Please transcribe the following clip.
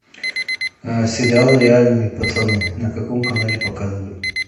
сериал реальные пацаны на каком канале показывают